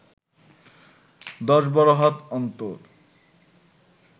দশ বারো হাত অন্তর